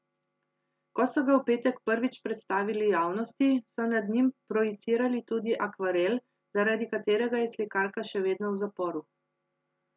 Ko so ga v petek prvič predstavili javnosti, so nad njim projicirali tudi akvarel, zaradi katerega je slikarka še vedno v zaporu.